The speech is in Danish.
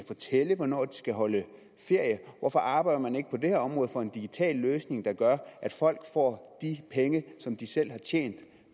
fortælle hvornår de skal holde ferie hvorfor arbejder man ikke på det her område for en digital løsning der gør at folk får de penge som de selv har tjent